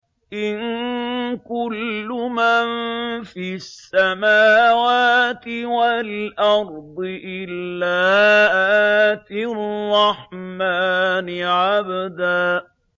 إِن كُلُّ مَن فِي السَّمَاوَاتِ وَالْأَرْضِ إِلَّا آتِي الرَّحْمَٰنِ عَبْدًا